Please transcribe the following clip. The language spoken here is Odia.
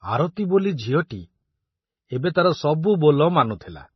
ଆରତି ବୋଲି ଝିଅଟି ଏବେ ତାର ସବୁ ବୋଲ ମାନୁଥିଲା।